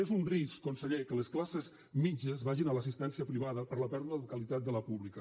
és un risc conseller que les classes mitjanes vagin a l’assistència privada per la pèrdua de qualitat de la pública